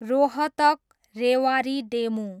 Rohtak, Rewari DEMU